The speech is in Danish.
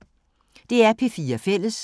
DR P4 Fælles